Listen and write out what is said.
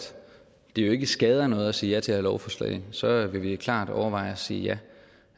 det jo ikke skader noget at sige ja til det her lovforslag så vil vi klart overveje at sige ja